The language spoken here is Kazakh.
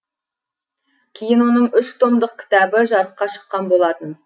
кейін оның үш томдық кітабы жарыққа шыққан болатын